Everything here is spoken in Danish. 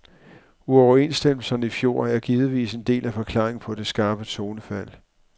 Uoverenstemmelserne i fjor er givetvis en del af forklaringen på det skarpe tonefald.